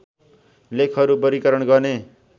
लेखहरू बर्गीकरण गर्ने